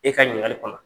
E ka ɲininkali kɔnɔ